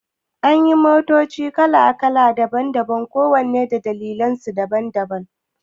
Anyi motoci kala daban-daban kowanne da dalilansu daban-daban